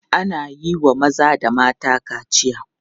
Ana iya wa maza da mata kaciya.